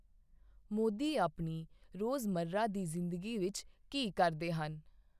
ਮੋਦੀ ਆਪਣੀ ਰੋਜ਼ਮਰ੍ਹਾ ਦੀ ਜ਼ਿੰਦਗੀ ਵਿੱਚ ਕੀ ਕਰਦੇ ਹਨ?